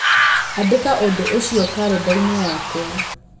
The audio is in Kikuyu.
Andĩka ũndũ ũcio karenda-inĩ yakwa